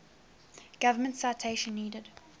government citation needed